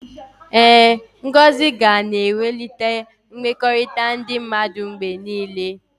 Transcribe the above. Ee, ngọzi ga na-ewulite mmekọrịta ndị mmadụ mgbe niile.